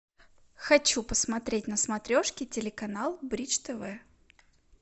хочу посмотреть на смотрешке телеканал бридж тв